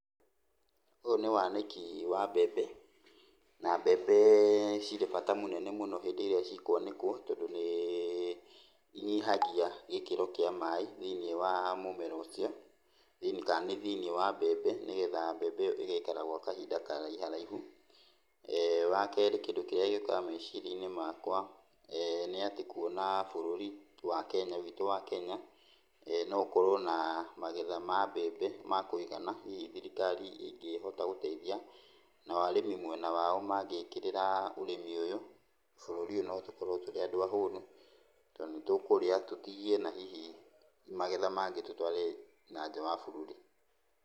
Ũyũ nĩ wanĩki wa mbembe, na mbembe cirĩ bata munene mũno hĩndĩ ĩraĩ cikwanĩkwo tondũ nĩ inyihagia gĩkĩro kĩa maĩ thĩiniĩ wa mũmera ũcio, kana nĩ thĩiniĩ wa mbembe nĩgetha mbembe ĩyo ĩgaikara gwa kahinda karaiharaihu. Wakerĩ kĩndũ kĩrĩa gĩũkaga meciria-inĩ makwa nĩ atĩ kuona bũrũri wa Kenya witũ wa Kenya no ũkorwo na magetha ma mbembe ma kũigana, hihi thirikari ĩngĩhota gũteithia, nao arĩmi mwena wao mangĩkĩrĩra ũrĩmi ũyũ, bũrũri ũyũ notũkorwo tũrĩ andũ ahũnu, tondũ nĩtũkũrĩa tũtigie na hihi magetha mangĩ tũtware nanja wa bũrũri.